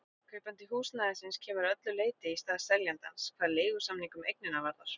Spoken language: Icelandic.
Kaupandi húsnæðisins kemur að öllu leyti í stað seljandans hvað leigusamning um eignina varðar.